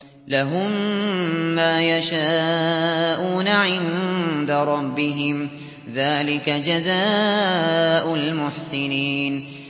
لَهُم مَّا يَشَاءُونَ عِندَ رَبِّهِمْ ۚ ذَٰلِكَ جَزَاءُ الْمُحْسِنِينَ